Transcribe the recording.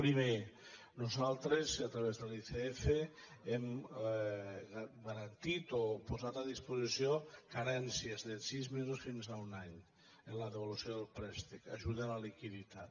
primer nosaltres a través de l’icf hem garantit o posat a disposició carències de sis mesos fins a un any en la devolució del préstec ajuda a la liquiditat